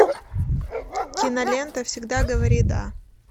кинолента всегда говори да